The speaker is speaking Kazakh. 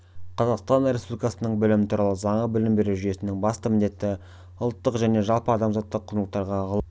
қазақстан республикасының білім туралы заңы білім беру жүйесінің басты міндеті-ұлттық және жалпы адамзаттық құндылықтар ғылым мен